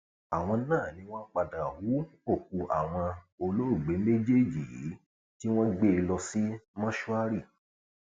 àwọn náà ni wọn padà hu òkú àwọn olóògbé méjèèjì yìí tí wọn gbé e lọ sí mọṣúárì